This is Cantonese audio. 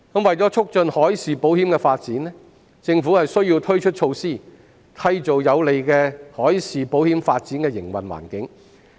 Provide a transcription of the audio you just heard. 為了促進海事保險的發展，政府需要推出措施，締造有利海事保險發展的營運環境。